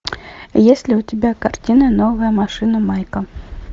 есть ли у тебя картина новая машина майка